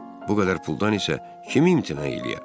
Bu qədər puldan isə kim imtina eləyər?